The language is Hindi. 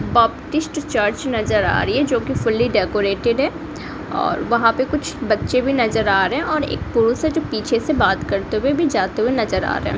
बापटिस्ट चर्च नजर आ रही है जो की फूली डेकोरेटेड है और वहां पर कुछ बच्चे भी नजर आ रहे हैं और एक पुरुष से पीछे से बात करते हुए भी जाते हुए नजर आ रहा है।